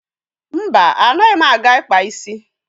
Mba, anaghị m aga ịkpa isi.